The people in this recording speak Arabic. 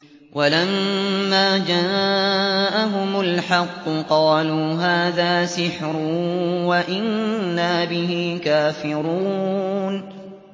وَلَمَّا جَاءَهُمُ الْحَقُّ قَالُوا هَٰذَا سِحْرٌ وَإِنَّا بِهِ كَافِرُونَ